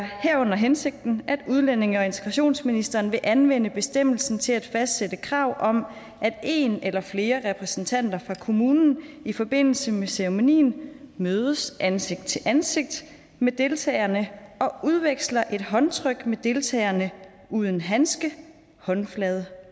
herunder hensigten at udlændinge og integrationsministeren vil anvende bestemmelsen til at fastsætte krav om at en eller flere repræsentanter fra kommunen i forbindelse med ceremonien mødes ansigt til ansigt med deltagerne og udveksler et håndtryk med deltagerne uden handske håndflade